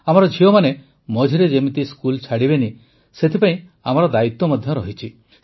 ଆମର ଝିଅମାନେ ମଝିରେ ଯେମିତି ସ୍କୁଲ୍ ଛାଡ଼ିବେ ନାହିଁ ସେଥିପାଇଁ ମଧ୍ୟ ଆମର ଦାୟିତ୍ୱ ରହିଛି